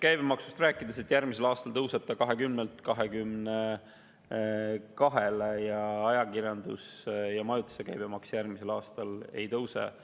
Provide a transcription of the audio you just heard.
Käibemaksust rääkides, järgmisel aastal tõuseb see 20%-lt 22%-le ning ajakirjanduse ja majutusasutuste käibemaks järgmisel aastal ei tõuse.